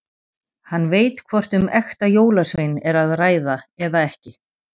Hann veit hvort um ekta jólasvein er að ræða eða ekki.